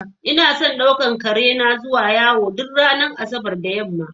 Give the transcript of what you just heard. Inason daukan karena zuwa yawo duk ranar asabar da yamma